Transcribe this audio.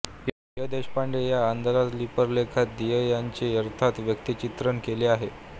य देशपांडे या आदरांजलीपर लेखात दियं यांचे यथार्थ व्यक्तिचित्रण केले आहे